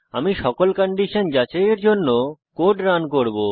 আমি সকল কন্ডিশন যাচাইয়ের জন্য কোড রান করব